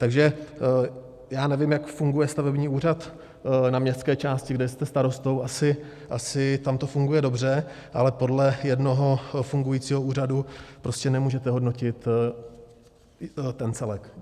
Takže já nevím, jak funguje stavební úřad na městské části, kde jste starostou, asi tam to funguje dobře, ale podle jednoho fungujícího úřadu prostě nemůžete hodnotit ten celek.